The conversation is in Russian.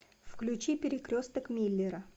включи перекресток миллера